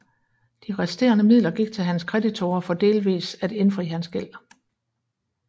De resterende midler gik til hans kreditorer for delvis at indfri hans gæld